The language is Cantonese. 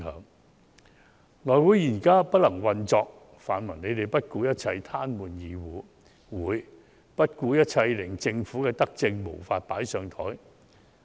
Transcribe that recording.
內務委員會現在不能運作，泛民不顧一切癱瘓議會、不顧一切令政府的德政無法"放上檯"。